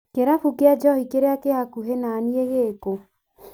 Kĩrabu kĩa njohi kĩrĩa kĩ hakuhĩ naniĩ gĩkũ?